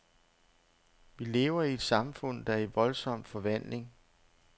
Vi lever i et samfund, der er i voldsom forvandling.